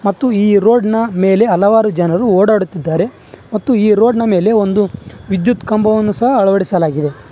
ಮತ್ತು ಈ ರೋಡ್ ನ ಮೇಲೆ ಹಲವಾರು ಜನರು ಓಡಾಡುತ್ತಿದ್ದಾರೆ ಮತ್ತು ಈ ರೋಡ್ ನ ಮೇಲೆ ಒಂದು ವಿದ್ಯುತ್ ಕಂಬವನ್ನು ಸಹ ಅಳವಡಿಸಲಾಗಿದೆ.